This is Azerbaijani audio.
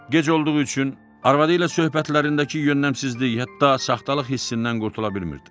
Gec olduğu üçün arvadı ilə söhbətlərindəki yönləmsizlik, hətta saxtalıq hissindən qurtula bilmirdi.